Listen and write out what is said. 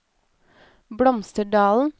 Blomsterdalen